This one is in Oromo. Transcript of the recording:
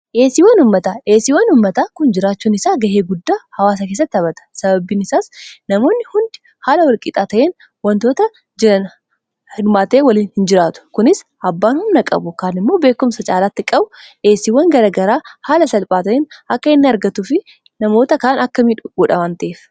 dheesiiwwan ummataa dheesiiwwan ummataa kun jiraachuun isaa ga'ee guddaa hawaasa keessatti habhata sababbiin isaas namoonni hundi haala walqixaa ta'in wantoota jianumaatee waliin hin jiraatu kunis abbaan humna qabu kaan immoo beekumsa caalaatti qabu dheesiiwwan garagaraa haala salphaa ta'iin akka hinn argatu fi namoota kaan akka miduudhawanteef